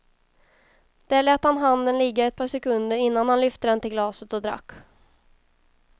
Där lät han handen ligga ett par sekunder innan han lyfte den till glaset och drack.